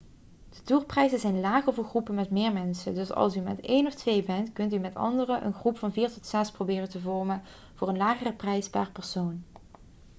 de tourprijzen zijn lager voor groepen met meer mensen dus als u met één of twee bent kunt u met anderen een groep van vier tot zes proberen te vormen voor een lagere prijs per persoon